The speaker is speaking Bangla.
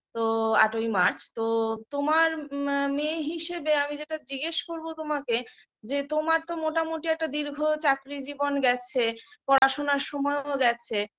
তো আট-ই মার্চ তো তোমার ম মেয়ে হিসেবে আমি যেটা জিজ্ঞেস করবো তোমাকে যে তোমার তো মোটামুটি একটা দীর্ঘ চাকরী জীবন গেছে পড়াশোনার সময়ও গেছে